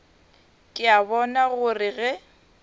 ke a bona gore ge